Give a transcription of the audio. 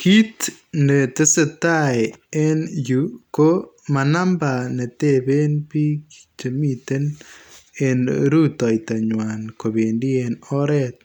Kit netesetaa en yu ko manamba neteben bik chemiten en rutoitonywan kobendi en oret